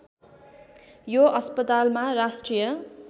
यो अस्पतालमा राष्ट्रिय